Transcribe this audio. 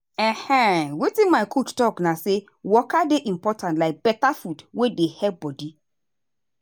ehn wetin my coach talk na say waka dey important like better food wey dey help body.